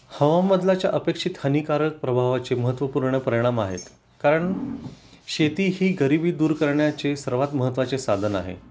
हवामानबदलाच्या अपेक्षित हानीकारक प्रभावाचे महत्त्वपूर्ण परिणाम आहेत कारण, शेती ही गरीबी दूर करण्याचे सर्वात महत्त्वाचे साधन आहे